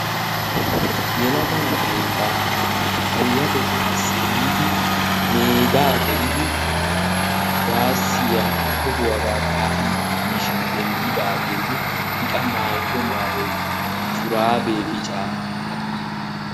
Yelaga na'ay ba payyatettaassi giidi meedaa gelidi kuwaassiya tohuwagaa kaa'idi diishin denddidaagenne I qa maayido maayoykka shuraabee biccaa.